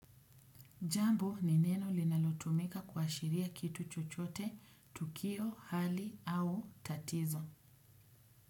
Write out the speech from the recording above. Jambo ni neno linalotumika kuashiria kitu chochote, tukio, hali au tatizo.